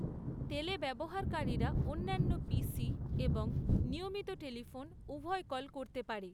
তেলে ব্যবহারকারীরা অন্যান্য পিসি এবং নিয়মিত টেলিফোন উভয় কল করতে পারে।